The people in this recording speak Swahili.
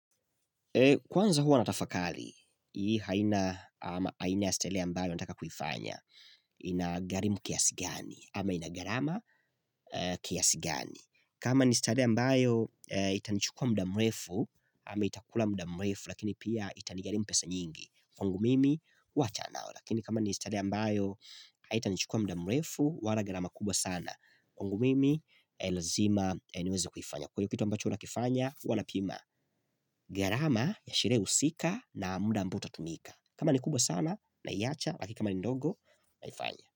Kwanza huwa natafakari, hii aina ama aina ya starehe ambayo nataka kuifanya inagharimu kiasi ngani ama inagharama kiasi ngani. Kama ni starehe ambayo itanichukua mdaa mrefu ama itakula mdaa mrefu lakini pia itanigharimu pesa nyingi. Kwangu mimi huwachana nalo lakini kama ni starehe ambayo haitanichukua mdaa mrefu wala gharama kubwa sana kwangu mimi lazima niweze kuifanya kwa ivyo kitu ambacho nakifanya huwa napima gharama ya sherehe husika na muda ambao utatumika kama ni kubwa sana naiacha lakini kama ni ndogo naifanya.